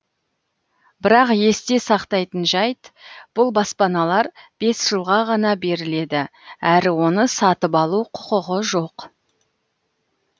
бірақ есте сақтайтын жайт бұл баспаналар бес жылға ғана беріледі әрі оны сатып алу құқығы жоқ